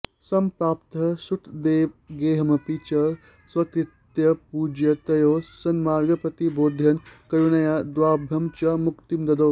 सम्प्राप्तः श्रुतदेवगेहमपि च स्वीकृत्य पूजां तयोः सन्मार्गं प्रतिबोधयन् करुणया द्वाभ्यां च मुक्तिं ददौ